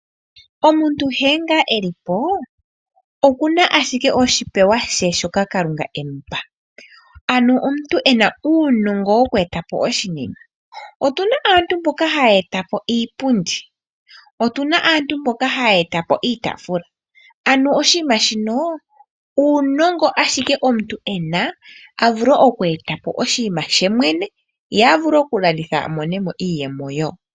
Omuntu nkene ngaa elipo okuna ashike oshipewa she shoka Kalunga emupa. Ano omuntu ena uunongo woku etapo oshinima. Otuna aantu mboka haya etapo iipundi, otuna aantu mboka haya etapo iitaafula. Ano oshinima shino uunongo ashike omuntu ena, a vule okweeta po oshinima she mwene ye a vule okulanditha a mone mo iiyemo wo.